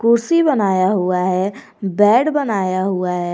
कुर्सी बनाया हुआ है बेड बनाया हुआ है।